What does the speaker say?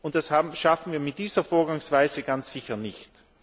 Das schaffen wir mit dieser Vorgangsweise ganz sicher nicht.